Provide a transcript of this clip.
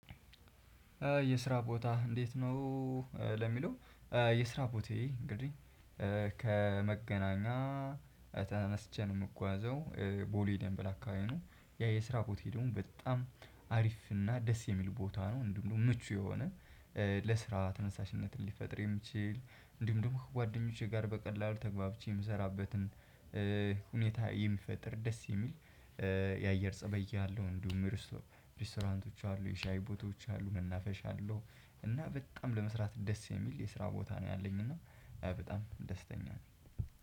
የስራ ቦታ እንዴት ነው? ለሚለው የስራ ቦታየ እንግዲህ ከመገናኛ ተነስቼ ነው የምጓዘው ቦሌ ደምበል አካባቢ ነው። ያ የስራ ቦት ሄዱን በጣም አሪፍ እና ደስ የሚል ቦታ ነው። እንዲሁም ደግሞ ምቹ የሆነ ለስራ ተነሳሽነትን ሊፈጥር የሚችል እንዲሁም ደግሞ ከጓደኞቼ ጋር በቀላሉ ተግባብቼ የምሰራበትን ሁኔታ የሚፈጥር ደስ የሚል የአየር ፀባይ አለው። እንዲሁም ሬስቶራንቶች አሉ የሻይ ቦታዎች አሉ መናፈሻ አለው። እና በጣም ለመስራት ደስ የሚል የስራ ቦታ ነው ያለኝ እና በጣም ደስተኛ ነው።